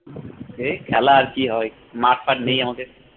এই খেলা আর কি হয় মাঠ টাথ নেই আমাদের